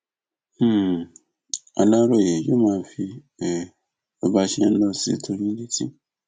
um aláròyé yóò máa fi um bó bá ṣe ń lọ sí tó yín létí